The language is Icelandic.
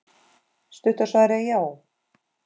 Stutta svarið er já.